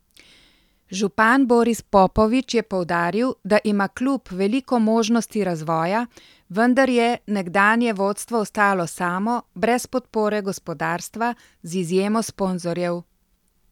Župan Boris Popovič je poudaril, da ima klub veliko možnosti razvoja, vendar je nekdanje vodstvo ostalo samo, brez podpore gospodarstva, z izjemo sponzorjev.